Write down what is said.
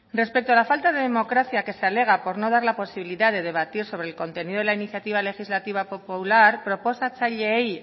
respecto a la falta de democracia que se alega por no dar la posibilidad de debatir sobre el contenido de la iniciativa legislativa popular proposatzaileei